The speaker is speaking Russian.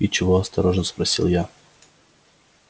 и чего осторожно спросила я